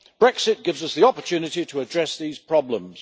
Brexit gives us the opportunity to address these problems.